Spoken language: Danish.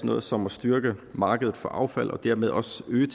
noget som at styrke markedet for affald og dermed også øge